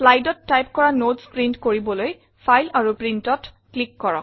Slideত type কৰা notes print কৰিবলৈ file আৰু Printত ক্লিক কৰক